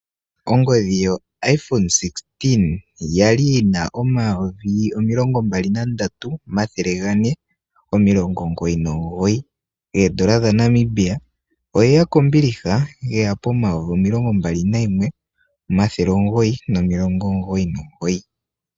Ongodhi yo IPhone 16 yali yina omayovi omilongo mbali na ndatu omathele gane omilongo omugoyi nomugoyi koondola dha Namibia. oyeya kombiliha yeya pomayovi omilongo mbali nayimwe omathele omugoyi nomilogo omugoyi nomugoyi.